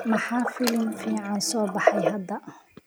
maxaa filim fiican soo baxay hadda